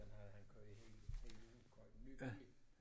Den havde han kørt i hele hele livet købt en ny bil